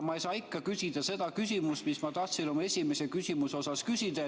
Aga ma ei saa ikka küsida seda küsimust, mis ma tahtsin oma esimese küsimuse osas küsida.